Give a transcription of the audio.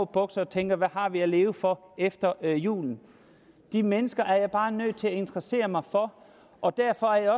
bukser og tænker hvad har vi at leve for efter jul de mennesker er jeg bare nødt til at interessere mig for og derfor er